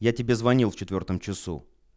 я тебе звонил в четвёртом часу